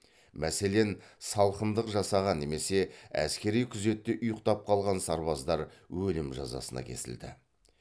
мәселен салқындық жасаған немесе әскери күзетте ұйықтап қалған сарбаздар өлім жазасына кесілді